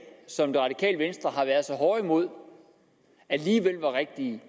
som det radikale venstre har været så hårde imod alligevel var rigtige